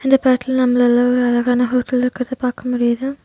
இந்த படத்துல நம்மலாள ஒரு அழகான ஹோட்டல் இருக்கறத பாக்க முடியுது.